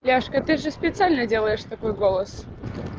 девушка ты же специально делаешь такой голос